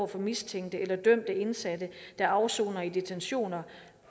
for mistænkte eller dømte indsatte der afsoner i detentioner